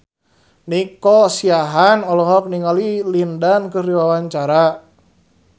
Nico Siahaan olohok ningali Lin Dan keur diwawancara